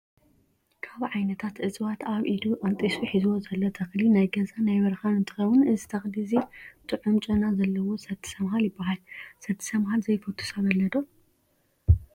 ካብ ዓይነታት እፅዋት ኣብ ኢዱ ቀንጢሱ ሒዝዎ ዘሎ ተክሊ ናይ ገዛ ናይ በረካን እንትከው እዚ ተክሊ እዚ ጥዑም ጨና ዘለዎ ሰቲ ሰምሃል ይበሃል። ሰቲ ሰምሃል ዘይፈቱ ሰብ ኣሎ ዶ ?